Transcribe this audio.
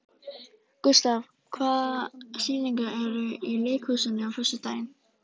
Gustav, hvaða sýningar eru í leikhúsinu á föstudaginn?